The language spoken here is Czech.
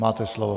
Máte slovo.